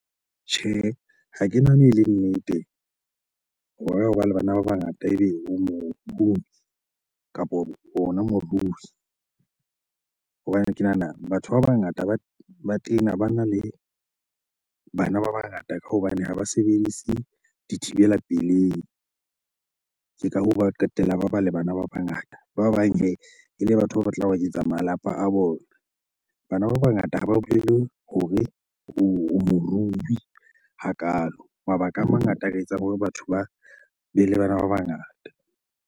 Tjhe, ha ke nahane ele nnete hore hoba le bana ba bangata ebe o mohumi kapo ona morui. Hobane ke nahana batho ba bangata ba tena bana le bana ba bangata ka hobane ha ba sebedise dithibela pelei. Ke ka hoo ba qetella ba ba le bana ba bangata. Ba bang hee, ele batho ba batlang ho eketsa malapa a bona. Bana ba bangata ha ba bolele hore o morui hakalo. Mabaka a mangata a ka etsa hore batho ba bele bana ba bangata.